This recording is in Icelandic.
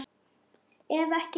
Ef ekki meira.